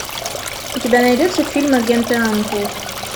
у тебя найдется фильм агенты анкл